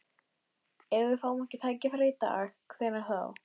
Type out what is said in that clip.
Ef við fáum ekki tækifærið í dag, hvenær þá?